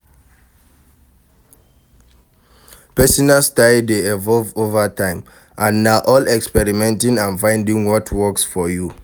Pesinal style dey evolve over time, and na all about experimenting and finding what works for you.